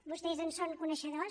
vostès en són coneixedors